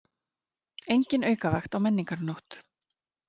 Engin aukavakt á Menningarnótt